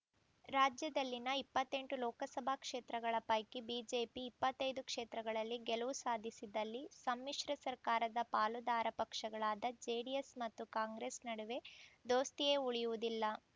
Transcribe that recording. ರಾಜ್ಯದಲ್ಲಿನ ಇಪ್ಪತ್ತೆಂಟು ಲೋಕಸಭಾ ಕ್ಷೇತ್ರಗಳ ಪೈಕಿ ಬಿಜೆಪಿ ಇಪ್ಪತ್ತೈದು ಕ್ಷೇತ್ರಗಳಲ್ಲಿ ಗೆಲುವು ಸಾಧಿಸಿದಲ್ಲಿ ಸಮ್ಮಿಶ್ರ ಸರ್ಕಾರದ ಪಾಲುದಾರ ಪಕ್ಷಗಳಾದ ಜೆಡಿಎಸ್‌ ಮತ್ತು ಕಾಂಗ್ರೆಸ್‌ ನಡುವೆ ದೋಸ್ತಿಯೇ ಉಳಿಯುವುದಿಲ್ಲ